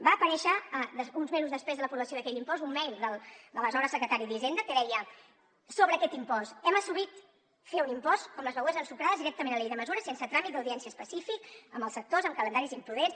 va aparèixer uns mesos després de l’aprovació d’aquell impost un mail de l’aleshores secretari d’hisenda que deia sobre aquest impost hem assumit fer un impost com les begudes ensucrades directament a la llei de mesures sense tràmit d’audiència específic amb els sectors amb calendaris imprudents